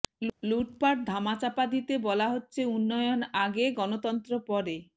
লুটপাট ধামাচাপা দিতে বলা হচ্ছে উন্নয়ন আগে গণতন্ত্র পরে